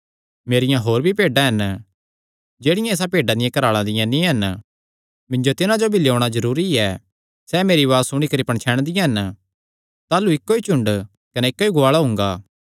मेरियां होर भी भेड्डां हन जेह्ड़ियां इसा भेड्डां दिया घराला दियां नीं हन मिन्जो तिन्हां जो भी लेयोणा जरूरी ऐ सैह़ मेरी उआज़ सुणी करी पणछैणदियां हन ताह़लू इक्को ई झुंड कने इक्को ई गुआल़ा हुंगा